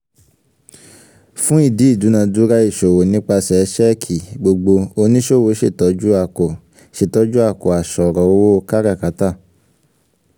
fún ìdí ìdúnadúrà ìṣòwò nípasẹ̀ ṣẹ́ẹ̀kì gbogbo oníṣòwò ṣètọ́jú àkò ṣètọ́jú àkò àṣọ̀rọ̀ owó káràkátà